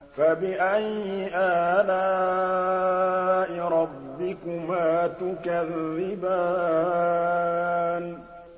فَبِأَيِّ آلَاءِ رَبِّكُمَا تُكَذِّبَانِ